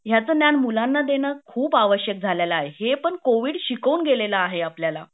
ह्याचा ज्ञान मुलाण देना खूप आवश्यक झालेला आहे हे पण कोविड शिकाऊन गेलेला आहे आपल्याला